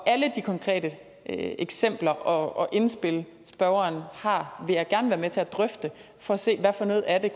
de konkrete eksempler og indspil spørgeren har vil jeg gerne være med til at drøfte for at se hvad for noget af det